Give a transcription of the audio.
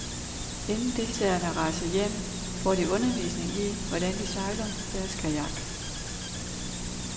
Inden deltagerne rejser hjem, får de undervisning i, hvordan de sejler deres kajak.